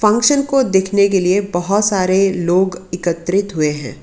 रोशन को देखने के लिए बहोत सारे लोग एकत्रित हुए हैं।